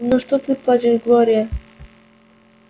ну что ты плачешь глория